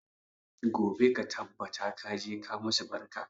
Gobe ka tabbata ka je ka musu barka!